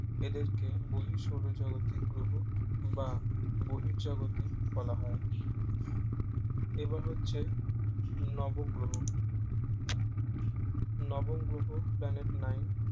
এদেরকে বহিঃ সৌরজাগতিক গ্রহ বা বহিঃ জগতে বলা হয় এবার হচ্ছে নব গ্রহ নব গ্রহ planet নাই